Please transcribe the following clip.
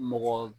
Mɔgɔ